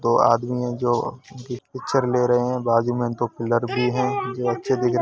दो आदमी हैं जो पिक्चर ले रहे है| बाजु में दो पिल्लर भी हैं जो अच्छे दिख --